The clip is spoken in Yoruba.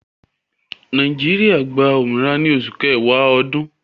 Nàìjíríà gbà òmìnira ní Òṣù Kẹ̀wà Òdún